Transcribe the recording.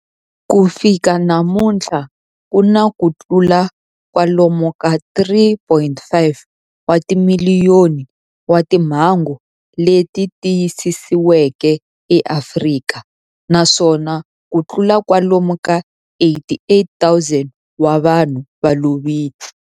Ku fika namuntlha ku na kutlula kwalomu ka 3.5 wa timiliyoni wa timhangu leti tiyisisiweke eAfrika, naswona kutlula kwalomu ka 88,000 wa vanhu va lovile.